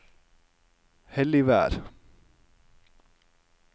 Helligvær